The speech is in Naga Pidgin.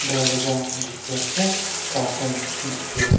doraja deikhi ase curtain dikhi ase.